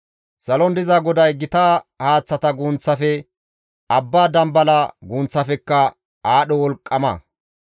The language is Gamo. Salon diza GODAY gita haaththata gunththafe, abba dambala gunththafekka aadho wolqqama.